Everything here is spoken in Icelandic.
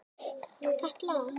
Katla